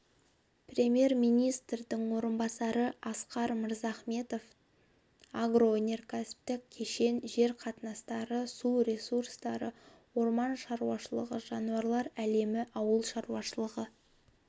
премьер-министрдің орынбасары асқар мырзахметов агроөнеркәсіптік кешен жер қатынастары су ресурстары орман шаруашылығы жануарлар әлемі ауыл шаруашылығы